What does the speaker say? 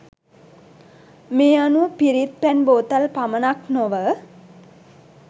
මේ අනුව පිරිත් පැන් බෝතල් පමණක් නොව